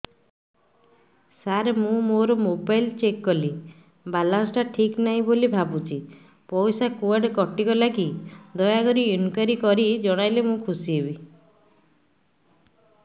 ସାର ମୁଁ ମୋର mobile check କଲି ବାଲାନ୍ସ ଟା ଠିକ ନାହିଁ ବୋଲି ଭାବୁଛି ପଇସା କୁଆଡେ କଟି ଗଲା କି ଦୟାକରି ଇନକ୍ୱାରି କରି ଜଣାଇଲେ ମୁଁ ଖୁସି ହେବି